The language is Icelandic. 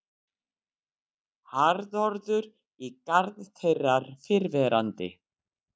Harðorður í garð þeirrar fyrrverandi